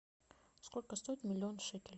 сколько стоит миллион шекелей